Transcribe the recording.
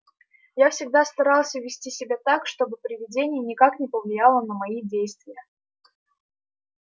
я всегда старался вести себя так чтобы предвидение никак не повлияло на мои действия